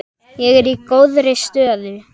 Ég er í góðri stöðu.